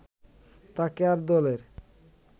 তাকে আর দলের